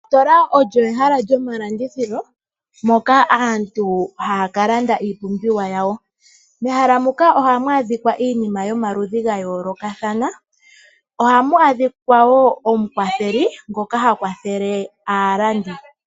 Ositola olyo ehala lyomalandithilo moka aantu haya kalanda iipumbiwa yawo. Mehala moka ohamu a dhikwa iinima yomaludhi ga yoolokathana. Ohamu adhikwa wo omukwatheli ngoka ha kwathele aalandi.